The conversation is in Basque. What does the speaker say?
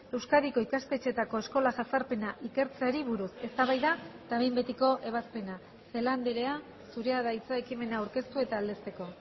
euskadiko ikastetxeetako eskola jazarpena ikertzeari buruz eztabaida eta behin betiko ebazpena celaá andrea zurea da hitza ekimena aurkeztu eta aldezteko